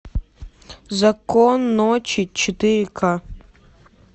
закон ночи четыре ка